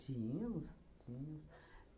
Tínhamos. Tínhamos.